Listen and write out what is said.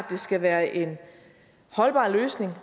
det skal være en holdbar løsning